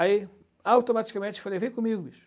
Aí, automaticamente, falei, vem comigo, bicho.